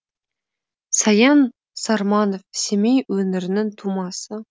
саян сарманов семей өңірінің тумасы